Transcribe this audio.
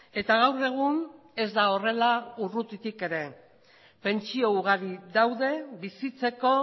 eta gaur egun ez da horrela urrutitik ere pentsio ugari daude bizitzeko